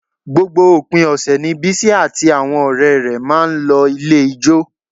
Gbogbo òpin ọ̀sẹ̀ ni Bísí àti àwọn ọ̀rẹ́ rẹ̀ máa ń lọ ilé ijó